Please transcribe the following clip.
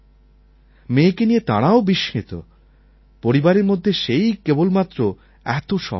মেয়েকে নিয়ে তারাও বিস্মিত পরিবারের মধ্যে সেই কেবল মাত্র এত সব পারে